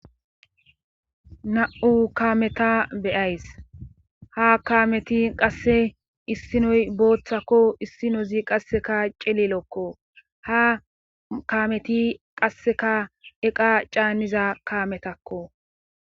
Na7u kaameta beyays ha kaameti qasse issinoy booththakko issinozi qasseka celelokko ha kaameti qasseka eqa caanniza kaametakko.